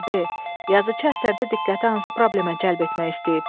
B. Yazıçı əsərdə diqqəti hansı problemə cəlb etmək istəyib?